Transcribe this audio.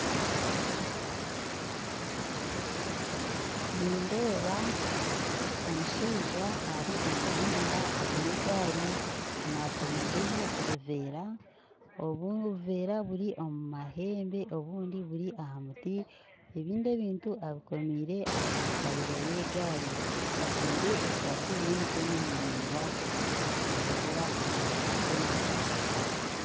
Nindeeba omushaija ari omu muhanda aine egaari akomireho obuveera obu obuveera obumwe buri omu mahembe obundi aha muti ebindi ebintu abukomire aha kariya y'egaari ajwire esaati y'emikono maraigwa natambuura aha rubaju rw'enju